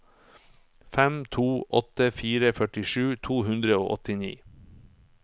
fem to åtte fire førtisju to hundre og åttini